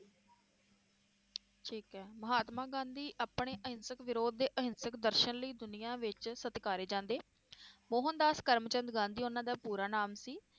ਠੀਕ ਏ ਮਹਾਤਮਾ ਗਾਂਧੀ ਆਪਣੇ ਅਹਿੰਸਕ ਵਿਰੋਧ ਦੇ ਅਹਿੰਸਕ ਦਰਸ਼ਨ ਲਈ ਦੁਨੀਆਂ ਵਿਚ ਸਤਿਕਾਰੇ ਜਾਂਦੇ ਮੋਹਨਦਾਸ ਕਰਮਚੰਦ ਗਾਂਧੀ ਉਹਨਾਂ ਦਾ ਪੂਰਾ ਨਾਮ ਸੀ,